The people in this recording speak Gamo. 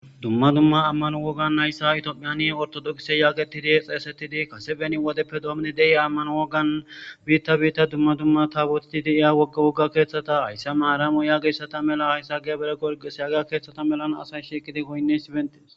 Dumma dumma amano wogannhaysa Ethiopia ordox getetid xeysetid Kase beni wodeppe demid de'iya amano wogan bitta bitta taboteti de'iya wogga wogga kethata haysa maramo yagiyaysata mala haysa gebre gebire gorgise yahiya keththata malan assay shiiqid goyiniyasi betes.